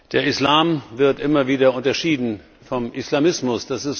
Der Islam wird immer wieder unterschieden vom Islamismus.